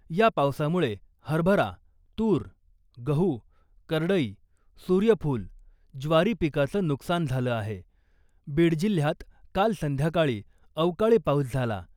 या पावसामुळे हरभरा , तूर , गहू , करडई , सुर्यफुल , ज्वारी पिकाचं नुकसान झालं आहे. बीड जिल्ह्यात काल संध्याकाळी अवकाळी पाऊस झाला .